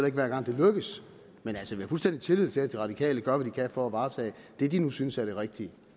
ikke hver gang det lykkes men altså vi har fuldstændig tillid til at de radikale gør hvad de kan for at varetage det de nu synes er det rigtige